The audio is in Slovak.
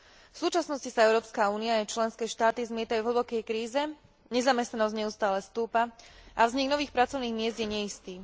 V súčasnosti sa Európska únia a jej členské štáty zmietajú vo veľkej kríze, nezamestnanosť neustále stúpa a vznik nových pracovných miest je neistý.